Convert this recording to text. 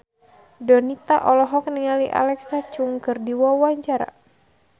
Donita olohok ningali Alexa Chung keur diwawancara